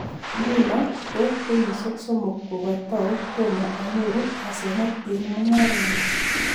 nguno ko kenyisiek somok kokatau tomo anyoru asenet eng' mung'arenyu''